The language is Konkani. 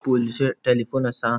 पयलीचे टेलीफोन आसा.